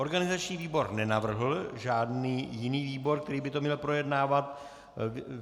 Organizační výbor nenavrhl žádný jiný výbor, který by to měl projednávat.